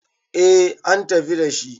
eh an tafi dashi